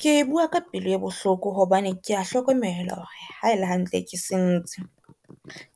Ke bua ka pelo e bohloko hobane ke a hlokomela hore ha ele hantle ke sentse.